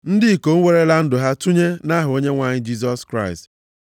ndị ikom werela ndụ ha tụnye nʼaha Onyenwe anyị Jisọs Kraịst.